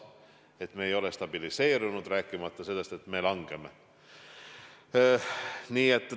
Olukord ei ole stabiliseerunud, rääkimata sellest, et näitajad langevad.